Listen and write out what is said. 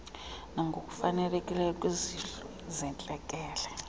nangokufanelekileyo kwizihlo zentlekele